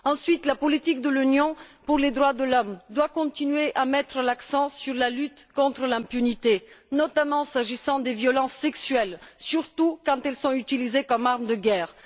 Ensuite, la politique de l'Union en matière de droits de l'homme doit continuer à mettre l'accent sur la lutte contre l'impunité, notamment s'agissant des violences sexuelles, surtout quand elles sont utilisées comme une arme de guerre.